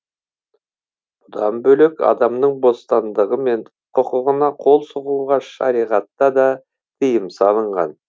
бұдан бөлек адамның бостандығы мен құқығына қол сұғуға шариғатта да тиым салынған